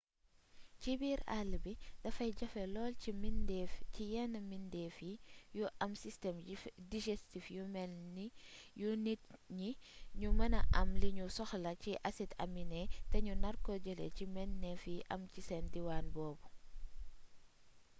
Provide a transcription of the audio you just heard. ci biir àll bi dafay jafe lool ci yenn mbidéef yu am système digestif yu melni yu nit ñi ñu mêna am li ñuy soxla ci acide aminé te ñu narko jëlee ci meññeef yi am ci diwaan boobu